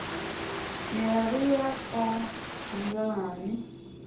ne re ya ka nnqeng